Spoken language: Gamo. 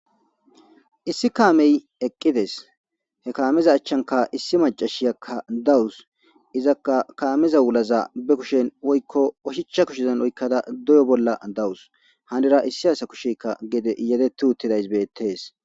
Issi kaamey eqqides he kaamiza achchanka issi macashiyakka dawus izaka kaamiza wulaza be kushen woykko oshichcha kushezan oykkada doyo bolla dawus hanira issi asa kushekka gede yedetu uttidays beettees.